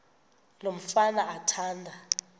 lo mfana athanda